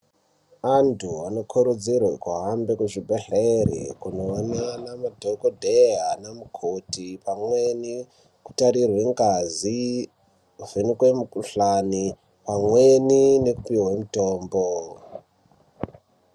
Antu anokurudzirwe kuhambe kuzvibhedhleri kunoone namadhokodheya ana mukoti pamweni kutarirwe ngazi kuvhenekwe mikhuhlani pamweni nekupihwe mutombo.